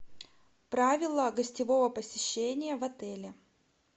правила гостевого посещения в отеле